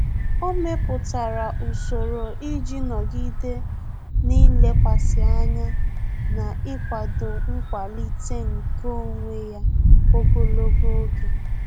Ọ́ mèpụ̀tárà usoro iji nọ́gídé n’ílékwàsí ányá na íkwàdò nkwàlíté nke onwe ya ogologo oge.